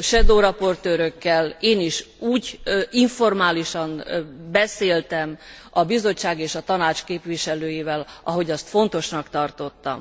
shadow raportőrökkel én is úgy informálisan beszéltem a Bizottság és a Tanács képviselőivel, ahogy azt fontosnak tartottam.